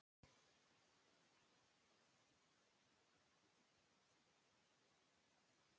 Magnús Hlynur Hreiðarsson: Hvert er þitt hlutverk í félaginu?